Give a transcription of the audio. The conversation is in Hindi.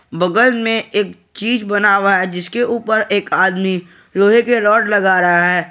बगल में एक चीज बना हुआ है जिसके ऊपर एक आदमी लोहे के रॉड लगा रहा है।